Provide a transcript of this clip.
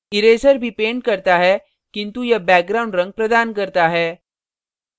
eraser भी paints करता है किन्तु यह background रंग प्रदान करता है